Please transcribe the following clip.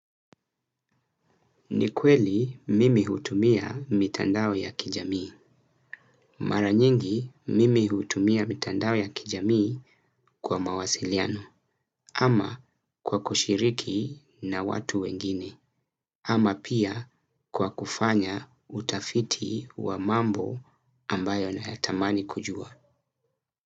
Ni kweli mimi hutumia mitandao ya kijamii. Mara nyingi mimi hutumia mitandao ya kijamii kwa mawasiliano ama kwa kushiriki na watu wengine. Ama pia kwa kufanya utafiti wa mambo ambayo nayatamani kujua.